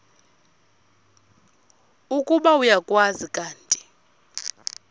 ukuba uyakwazi kanti